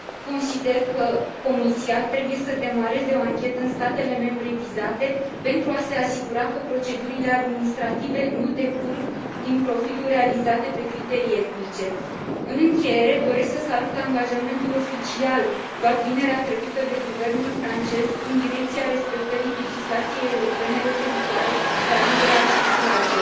Consider că Comisia trebuie să demareze o anchetă în statele membre vizate pentru a se asigura că procedurile administrative nu decurg din profiluri realizate pe criterii etnice. În încheiere, doresc să salut angajamentul oficial luat vinerea trecută de guvernul francez în direcția respectării legislației europene referitoare la libera circulație.